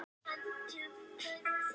Brynjúlfur, hvað er í dagatalinu í dag?